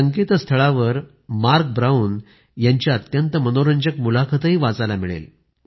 या संकेतस्थळावर Mark Brown यांची अत्यंत मनोरंजक मुलाखतही वाचायला मिळेल